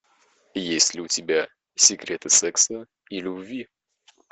есть ли у тебя секреты секса и любви